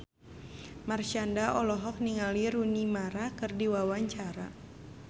Marshanda olohok ningali Rooney Mara keur diwawancara